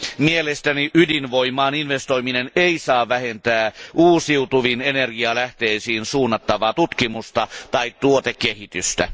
Mielestäni ydinvoimaan investoiminen ei saa vähentää uusiutuviin energialähteisiin suunnattavaa tutkimusta tai tuotekehitystä.